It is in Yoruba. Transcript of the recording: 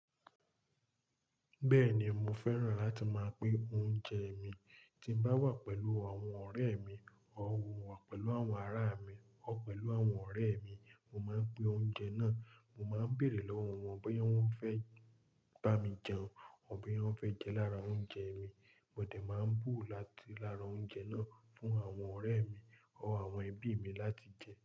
Bẹ́ẹ̀ni mo fẹ́ràn láti máa pín oúnjẹ mi. Tí mo bá wà pẹ̀lú àwọn ọ̀rẹ́ mi or pẹ̀lú àwọn ará mi ọ̀wọ̀ pẹ̀lú àwọn ọ̀rẹ́ mi, mo máa ń pín oúnjẹ náà. Mo máa ń bèrè lọ́wọ́ wọn bóyá wọ́n fẹ́ bá mi jẹun ọ́ bóyá wọ́n fẹ́ jẹ lára oúnjẹ mi. Mo lè máa bú láti lára oúnjẹ náà fún àwọn ọ̀rẹ́ mi ọ̀wọ̀ àwọn ẹbí mi láti jẹ.